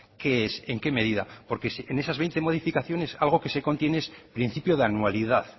qué es en qué medida porque en esas veinte modificaciones algo que se contiene es principio de anualidad